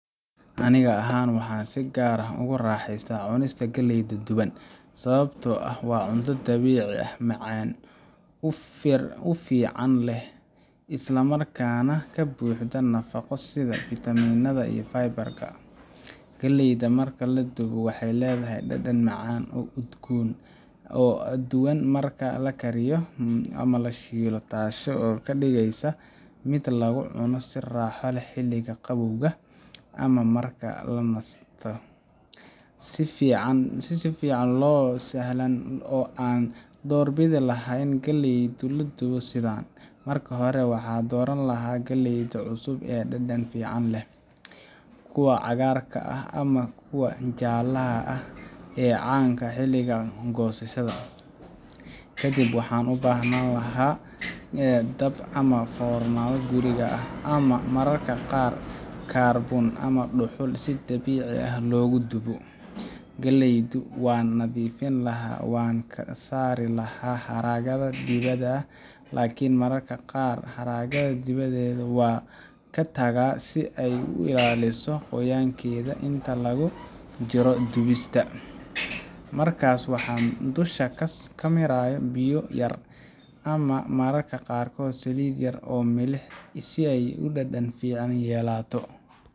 Aniga ahaan, waxaan si gaar ah ugu raaxaystaa cunista galleyda duban sababtoo ah waa cunto dabiici ah, macaan, ur fiican leh, islamarkaana ka buuxda nafaqo sida fiitamiinada iyo fiber-ka. Galleydan marka la dubo waxay leedahay dhadhan macaan oo udgoon ah oo ka duwan marka la kariyo ama la shiido, taas oo ka dhigaysa mid lagu cuno si raaxo leh xilliga qabowga ama marka la nasto. Si fiican oo sahlan oo aan u doorbidi lahaa in galleyda loo dubo waa sidan: Marka hore, waxaan dooran lahaa galley cusub oo dhadhan fiican leh kuwa cagaarka ah ama kuwa jaallaha ah ee caan ka ah xilliga goosashada. Kadib waxaan u baahnaan lahaa dab ama foornadii guriga ah, ama mararka qaar karbuun ama dhuxul si dabiici ah loogu dubo. Galleydu waan nadiifin lahaa, waxaan ka saari lahaa haraggeeda dibadda ah, laakiin mararka qaar haragga dibadeed waan ka tagaa si ay u ilaaliso qoyaankeeda inta lagu jiro dubista. Markaas waxaan dusha ka mariyaa biyo yar, ama mararka qaarkood saliid yar iyo milix si ay dhadhan fiican u yeelato.